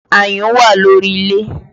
Ayùn wà lórí ilé